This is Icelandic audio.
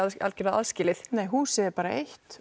algjörlega aðskilið nei húsið er bara eitt